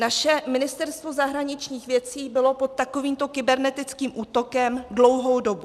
Naše Ministerstvo zahraničních věcí bylo pod takovýmto kybernetickým útokem dlouhou dobu.